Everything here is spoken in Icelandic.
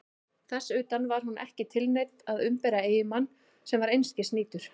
Þess utan: var hún ekki tilneydd að umbera eiginmann sem var einskis nýtur?